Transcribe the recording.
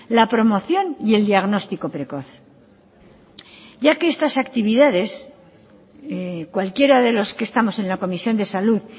la promoción y el diagnóstico precoz ya que estas actividades cualquiera de los que estamos en la comisión de salud